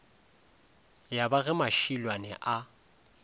ya ba ge mašilwane a